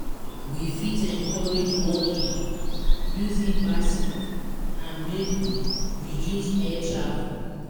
We fit encourage walking, using bicycle and maybe reduce air travel